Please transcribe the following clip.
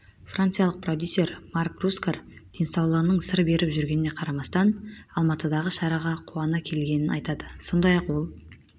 франциялық продюсер марк рускар денсаулығының сыр беріп жүргеніне қарамастан алматыдағы шараға қуана келгенін айтады сондай-ақ ол